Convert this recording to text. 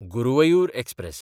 Guruvayur express